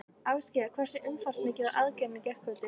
Ásgeir, hversu umfangsmikil var aðgerðin í gærkvöldi?